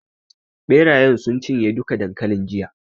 Ɓerayen sun cinye duka dankalin jiya.